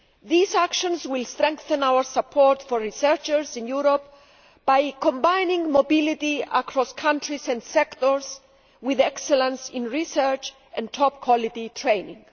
These actions will strengthen our support for researchers in Europe by combining mobility across countries and sectors with excellence in research and top quality training.